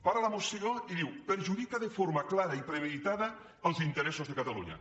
para la moció i diu perjudica de forma clara i premeditada els interessos de catalunya